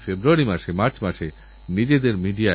আমি আপনাদের কথা দেশবাসীর কাছে পৌঁছে দিতে সচেষ্ট হবো